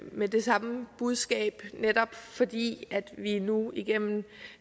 med det samme budskab netop fordi vi nu gennem